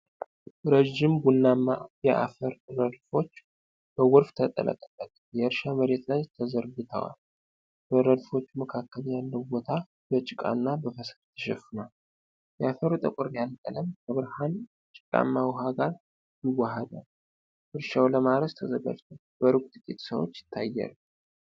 ረጅም ቡናማ የአፈር ረድፎች በጎርፍ የተጥለቀለቀ የእርሻ መሬት ላይ ተዘርግተዋል። በረድፎቹ መካከል ያለው ቦታ በጭቃና በፈሳሽ ተሸፍኗል። የአፈሩ ጠቆር ያለ ቀለም ከብርሃን ጭቃማ ውሃ ጋር ይዋሃዳል። እርሻው ለማረስ ተዘጋጅቷል፤ በሩቅ ጥቂት ሰዎች ይታያሉ።